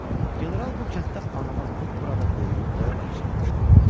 General bu kənddə anadan olub, burada böyüyüb boya-başa çatmışdı.